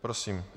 Prosím.